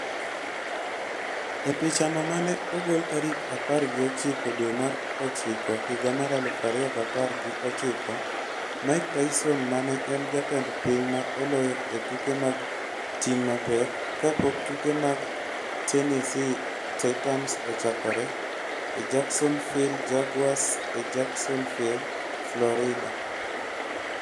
E pichano ma ne ogol tarik apar gi ochiko dwe mar ochiko higa mar aluf ariyo gi apar gi ochiko, Mike Tyson ma ne en jatend piny ma oloyo e tuke mag ting' mapek, ka pok tuke mag Tennessee Titans ochakore e Jacksonville Jaguars e Jacksonville, Florida